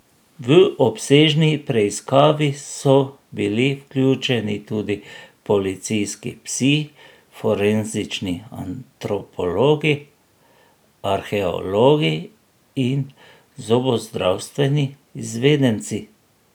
V obsežni preiskavi so bili vključeni tudi policijski psi, forenzični antropologi, arheologi in zobozdravstveni izvedenci.